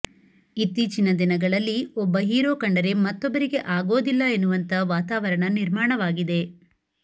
ಇತ್ತೀಚಿನ ದಿನಗಳಲ್ಲಿ ಒಬ್ಬ ಹೀರೋ ಕಂಡರೆ ಮತ್ತೊಬ್ಬರಿಗೆ ಆಗೋದಿಲ್ಲ ಎನ್ನುವಂತಾ ವಾತಾವರಣ ನಿರ್ಮಾಣವಾಗಿದೆ